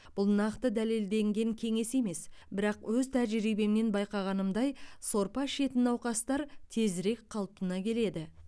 бұл нақты дәлелденген кеңес емес бірақ өз тәжірибемнен байқағанымдай сорпа ішетін науқастар тезірек қалпына келеді